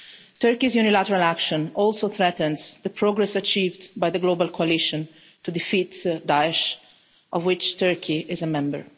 Turkey's unilateral action also threatens the progress achieved by the Global Coalition to defeat Daesh, of which Turkey is a member.